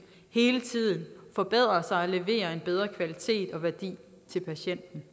hele tiden forbedrer sig og leverer en bedre kvalitet og værdi til patienten